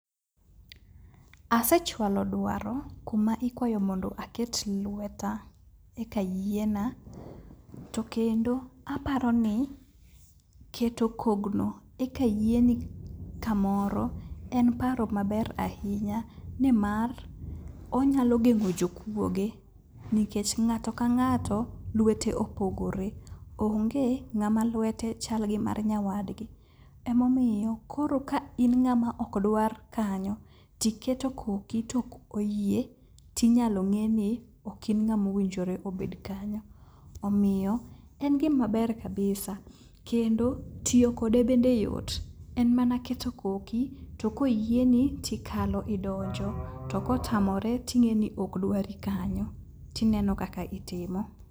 Asechwalo dwaro kuma ikwayo mondo aket lweta eka yiena, to kendo aparoni keto kogno eka yieni kamoro en paro maber ahinya nimar onyalo geng'o jokuoge nikech ng'ato ka ng'ato, lwete opogore. Onge ng'ama lwete chal gi mar nyawadgi. Emomiyo, koro ka in ng'ama okdwar kanyo, tiketo koki to koki ok oyie, tinyalo ng'e ni ok in ng'ama owinjore obed kanyo. Omiyo en gimaber kabisa. Kendo ,tiyo kode bende yot. En mana keto koki, to koyieni, tikalo idonjo, to kotamore ting'eni ok dwari kanyo. Tineno kaka itimo.